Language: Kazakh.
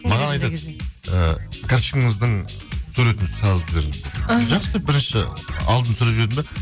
маған айтады ы карточкаңыздың суретін салып жіберіңіз деп іхі жақсы деп бірінші алдын түсіріп жібердім де